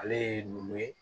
Ale ye numu ye